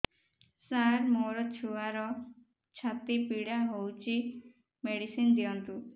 ସାର ମୋର ଛୁଆର ଛାତି ପୀଡା ହଉଚି ମେଡିସିନ ଦିଅନ୍ତୁ